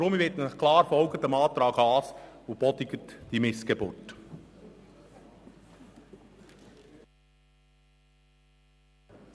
Darum bitte ich Sie klar, dem Antrag Haas zu folgen und diese Missgeburt abzulehnen.